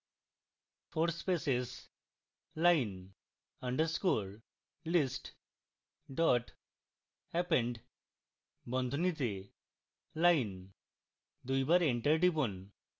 four spaces line underscore list dot append বন্ধনীতে line